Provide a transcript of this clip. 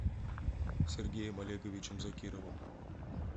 сергеем олеговичем закировым